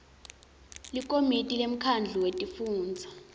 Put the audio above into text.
likomiti lemkhandlu wetifundza